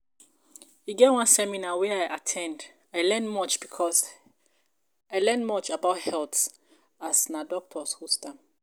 e get one seminar wey I at ten d, I learn much about health as na doctors host am